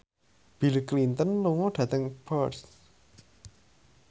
Bill Clinton lunga dhateng Perth